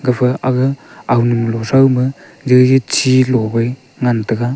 gapha aga agamunlo throuma chilo wai ngan taiga.